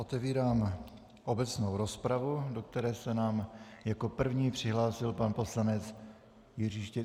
Otevírám obecnou rozpravu, do které se nám jako první přihlásil pan poslanec Jiří Štětina.